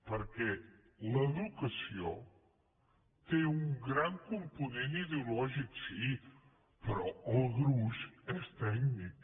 perquè l’educació té un gran component ideològic sí però el gruix és tècnic